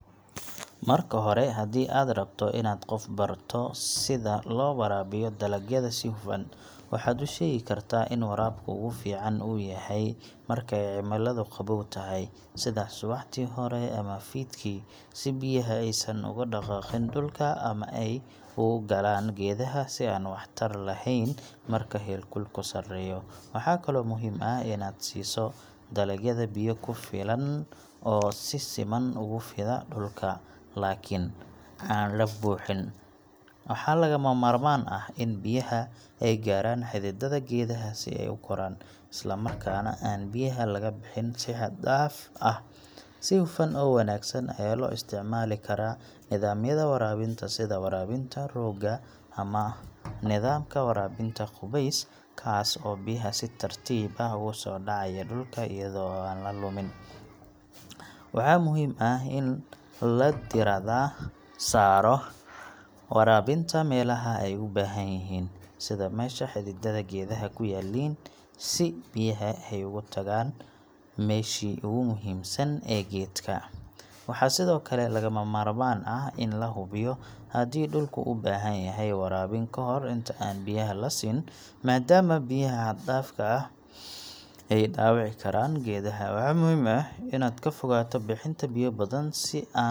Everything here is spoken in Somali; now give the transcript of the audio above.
Marka hore, haddii aad rabto inaad qof barato sida loo waraabiyo dalagyada si hufan, waxaad u sheegi kartaa in waraabka ugu fiican uu yahay marka ay cimiladu qabow tahay, sida subaxdii hore ama fiidkii, si biyaha aysan uga dhaqaaqin dhulka ama ay u galaan geedaha si aan waxtar lahayn marka heerkulku sareeyo. Waxaa kaloo muhiim ah inaad siiso dalagyada biyo ku filan oo si siman ugu fida dhulka, laakiin aan la buuxin. Waxaa lagama maarmaan ah in biyaha ay gaaraan xididada geedaha si ay u koraan, isla markaana aan biyaha laga bixin si xad-dhaaf ah. Si hufan oo wanaagsan ayaa loo isticmaali karaa nidaamyada waraabinta sida waraabinta rooga ama nidaamka waraabinta qubeys, kaas oo biyaha si tartiib ah ugu soo dhacaya dhulka iyadoo aan la lumin. Waxaa muhiim ah in la diiradda saaro waraabinta meelaha ay u baahan yihiin, sida meesha xididada geedaha ku yaalliin, si biyaha ay ugu tagaan meeshii ugu muhiimsan ee geedka. Waxaa sidoo kale lagama maarmaan ah in la hubiyo haddii dhulku u baahan yahay waraabin ka hor inta aan biyaha la siin, maadaama biyaha xad-dhaafka ah ay dhaawici karaan geedaha. Waxaa muhiim ah inaad ka fogaato bixiin badan si aan.